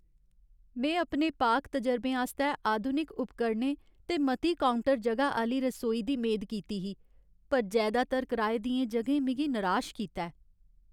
में अपने पाक तजरबें आस्तै आधुनिक उपकरणें ते मती काउंटर जगह आह्‌ली रसोई दी मेद कीती ही, पर जैदातर कराए दियें जगहें मिगी निराश कीता ऐ।